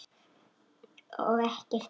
Og ekkert óvænt.